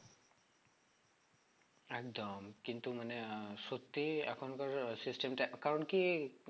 একদম কিন্তু মানে আহ সত্যি এখনকার আহ system টা একটা কারণ কি